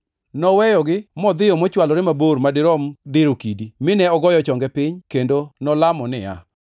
Noweyogi modhiyo mochwalore mabor madirom diro kidi, mine ogoyo chonge piny kendo nolamo niya,